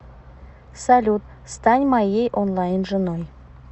салют стань моей онлайн женой